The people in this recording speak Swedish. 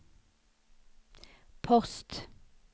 post